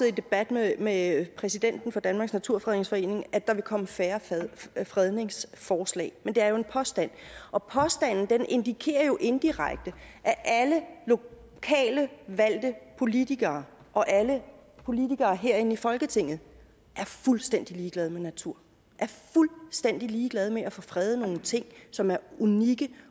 i debat med med præsidenten for danmarks naturfredningsforening at der vil komme færre fredningsforslag men det er jo en påstand og den indikerer indirekte at alle lokalt valgte politikere og alle politikere herinde i folketinget er fuldstændig ligeglade med naturen er fuldstændig ligeglade med at få fredet nogle ting som er unikke